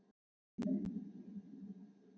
Hafið þér einkarétt á því?